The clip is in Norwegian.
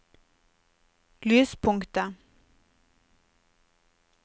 lyspunktet